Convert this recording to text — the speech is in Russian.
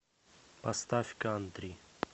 поставь кантри